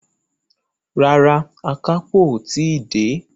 Rárá, àkápò o tí dé.